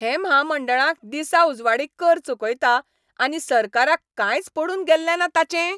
हें म्हामंडळांक दिसाउजवाडीं कर चुकयता आनी सरकाराक कांयच पडून गेल्लें ना ताचें?